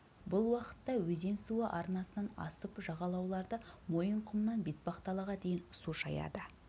бұл уақытта өзен суы арнасынан асып жағалауларды мойынқұмнан бетпақдалаға дейін су шаяды